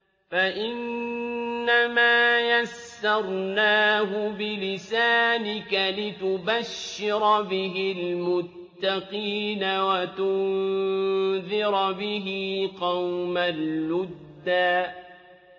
فَإِنَّمَا يَسَّرْنَاهُ بِلِسَانِكَ لِتُبَشِّرَ بِهِ الْمُتَّقِينَ وَتُنذِرَ بِهِ قَوْمًا لُّدًّا